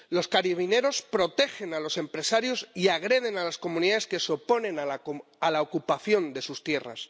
Los carabineros protegen a los empresarios y agreden a las comunidades que se oponen a la ocupación de sus tierras.